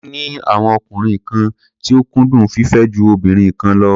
Ó ní àwọn ọkùnrin kan tí ó kúndùn fífẹ́ ju obìnrin kan lọ.